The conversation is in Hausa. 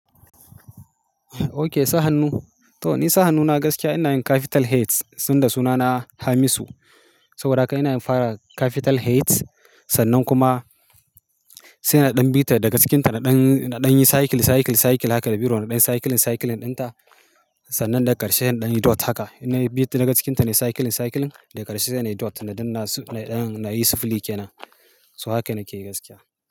Okay sa hannu. To ni sa hannuna gaskiya ina yin capital H suna na Hamisu. Saboda haka ina yin fara capital H sannan kuma sai na ɗan bita daga cikinta, na ɗan, na ɗan yi cycle, cycle, cycle haka da biro na ɗan cycling, cycling ɗinta sannan daga ƙarshe inɗan yi dot haka. Ina yi bit daga cikinta, na yi cycling, cycling dai ƙarshe sai na yi dot na ɗin na su-- na ɗan na yi sifili kenan. So haka nake yi gaskiya.